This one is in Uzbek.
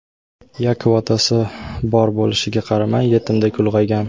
Yakov otasi bor bo‘lishiga qaramay yetimdek ulg‘aygan.